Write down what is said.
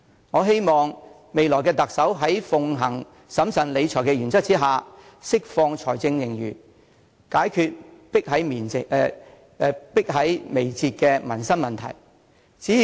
我希望未來的特首在奉行審慎理財的原則之下，能釋放財政盈餘，解決迫在眉睫的民生問題。